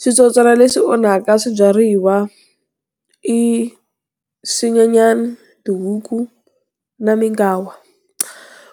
Switsotswana leswi onhaka swibyariwa i, swinyenyani, tihuku, na minkawa.